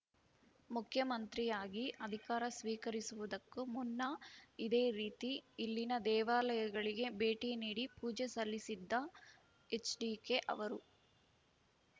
ಮುಖ್ಯಮಂತ್ರಿಯಾಗಿ ಅಧಿಕಾರ ಸ್ವೀಕರಿಸುವುದಕ್ಕೂ ಮುನ್ನ ಇದೇ ರೀತಿ ಇಲ್ಲಿನ ದೇವಾಲಯಗಳಿಗೆ ಭೇಟಿ ನೀಡಿ ಪೂಜೆ ಸಲ್ಲಿಸಿದ್ದ ಎಚ್‌ಡಿಕೆ ಅವರು